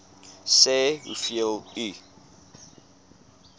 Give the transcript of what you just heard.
sê hoeveel u